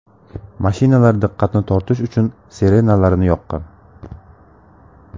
Mashinalar diqqatni tortish uchun sirenalarini yoqqan.